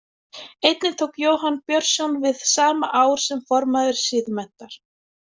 Einnig tók Jóhann Björnsson við sama ár sem formaður Siðmenntar.